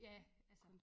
Ja altså